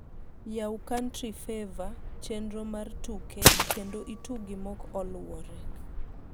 yau country favour, chenro mar tuke, kendo itugi mok oluore